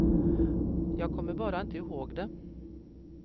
Jag kommer bara inte ihåg det.